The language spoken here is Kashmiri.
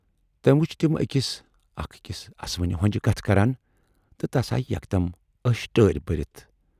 تٔمۍ وُچھ تِم أکِس اکھ ٲکِس سۭتۍ اَسوٕنہِ ہۅنجہِ کتھٕ کران تہٕ تَس آیہِ یقدم ٲشۍ ٹٲرۍ بٔرِتھ۔